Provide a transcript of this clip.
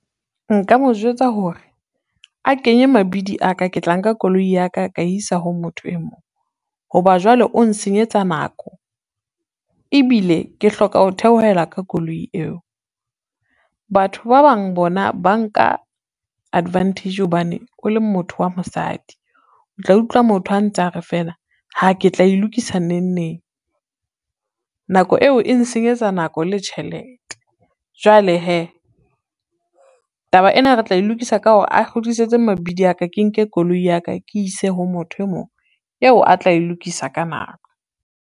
Nka mo jwetsa hore, a kenye mabidi a ka ke tla nka koloi ya ka ka isa ho motho e mong, ho ba jwale o nsenyetsa nako ebile ke hloka ho theohela ka koloi eo. Batho ba bang bona ba nka advantage hobane o le motho wa mosadi, o tla utlwa motho a ntsa re fela haa ke tla e lokisa nengneng, nako eo e nsenyetsa nako le tjhelete. Jwale hee, taba ena re tla e lokisa ka hore a kgutlisetse mabidi ya ka, ke nke koloi ya ka, ke ise ho motho e mong eo a tla e lokisa ka nako.